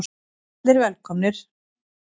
Allir velkomnir.